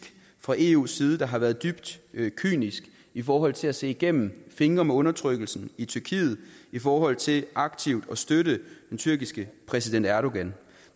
fra eus side der har været dybt kynisk i forhold til at se igennem fingre med undertrykkelsen i tyrkiet i forhold til aktivt at støtte den tyrkiske præsident erdogan